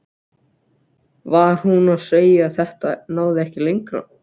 Var hún að segja að þetta næði ekki lengra?